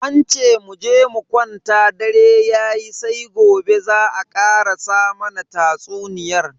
An ce muje mu kwanta dare yayi sai gobe za a karasa mana tatsuniyan.